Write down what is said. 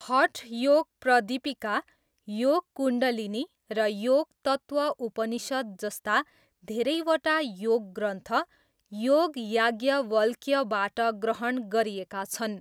हठ योग प्रदिपिका, योग कुण्डलिनी र योग तत्त्व उपनिषद् जस्ता धेरैवटा योग ग्रन्थ, योग याज्ञवल्क्यबाट ग्रहण गरिएका छन्।